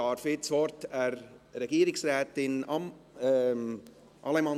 – Es gibt keine Fraktionsmeldungen.